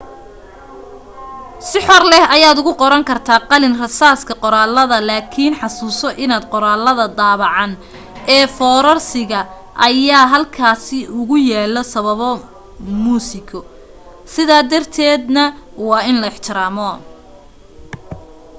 si xor leh ayaad ugu qoran kartaa qalin rasaaska qoraaladaada laakin xusuuso in qoraalada daabacan ee foorarsiga ayaa halkaasi ugu yaalo sabab muusiko sidaa darteeda na waa in la ixtiraamo